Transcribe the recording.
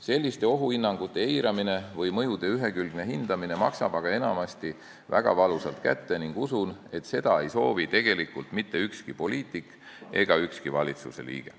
Selliste ohuhinnangute eiramine või mõjude ühekülgne hindamine maksab enamasti väga valusalt kätte ning usun, et seda ei soovi tegelikult mitte ükski poliitik ega ükski valitsusliige.